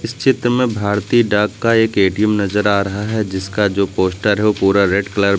चित्र में भारतीय डाक का एक ए_टी_एम नजर आ रहा है जिसका जो पोस्टर है पूरा रेड कलर में--